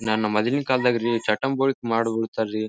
ನನ್ನ ಮದುವೆ ಕಾಲದಾಗ ರೀ ಚಾಟಾಮ್ ಬೊಲಿಕ್ ಮಾಡ್ಬಿಡ್ತಾವೆ ರೀ.